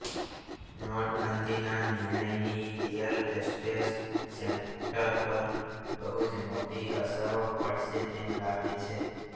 નોટબંધીના નિર્ણયની real estate sector પર બહુંજ મોટી અસરો પડશે તેમ લાગે છે